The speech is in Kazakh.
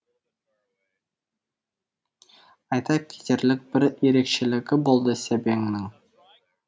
айта кетерлік бір ерекшелігі болды сәбеңнің